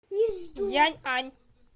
яньань